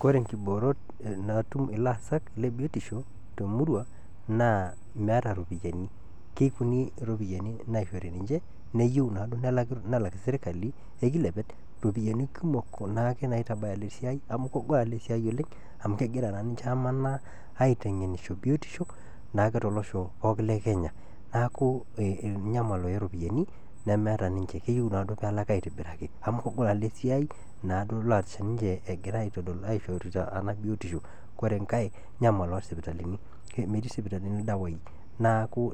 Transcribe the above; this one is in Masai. Koree nkiboorot naatum ilaasak le biotisho te emurrua naa meeta iropiyiani, kekunii iropiyiani naishori ninche neyeu naado nelak sirikali ekiliepet iropiyiani kumok kuna aake naitabaya ale siaai amu kegol ale siaai oleng amu kegira naa ninche amanaa aiteng'enisho biotisho naake tolosho pookin le kenya naaku inyamal ooropyiani nemeeta ninche keyeu naado peelaki aitobiraki amu kegol naa ale siaai naaado leasita ninche egira aishourita ana biotisho, ore inkae inyamal oosipitalini metii sipitalini irdawaii naaku